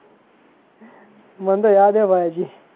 મને તો યાદ હે ભાઈ હજી.